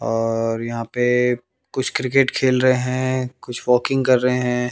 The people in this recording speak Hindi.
और यहां पे कुछ क्रिकेट खेल रहे हैं कुछ वॉकिंग कर रहे हैं।